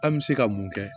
An bɛ se ka mun kɛ